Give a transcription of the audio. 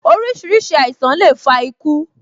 Orísìírísìí àìsàn le fa iku